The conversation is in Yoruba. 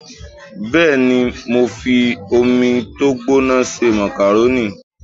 Bẹ́ẹ̀ni, mo fi omi tó gbóná se màkàrónì